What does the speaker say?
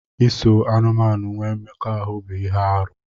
Iso anụmanụ nwee mmekọahụ bụ ihe arụ.